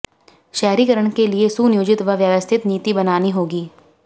शहरीकरण के लिए सुनियोजित व व्यवस्थित नीति बनानी होगी